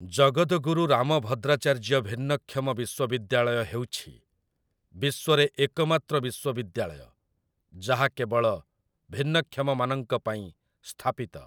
ଜଗଦଗୁରୁ ରାମଭଦ୍ରାଚାର୍ଯ୍ୟ ଭିନ୍ନକ୍ଷମ ବିଶ୍ୱବିଦ୍ୟାଳୟ ହେଉଛି ବିଶ୍ୱରେ ଏକମାତ୍ର ବିଶ୍ୱବିଦ୍ୟାଳୟ ଯାହା କେବଳ ଭିନ୍ନକ୍ଷମମାନଙ୍କ ପାଇଁ ସ୍ଥାପିତ ।